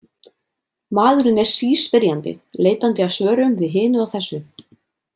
Maðurinn er síspyrjandi, leitandi að svörum við hinu og þessu.